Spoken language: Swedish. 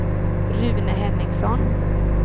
Rune Henningsson